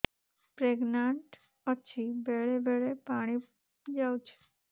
pregnant ଅଛି ବେଳେ ବେଳେ ପାଣି ଯାଉଛି